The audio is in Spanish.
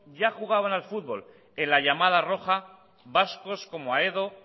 ya jugaban al fútbol en la llamada roja vascos como aedo